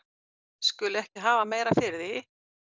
skuli ekki hafa meira fyrir því